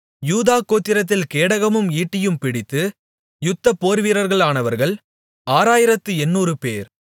யூதா கோத்திரத்தில் கேடகமும் ஈட்டியும் பிடித்து யுத்த போர்வீரர்களானவர்கள் ஆறாயிரத்து எண்ணூறுபேர்